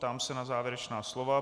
Ptám se na závěrečná slova.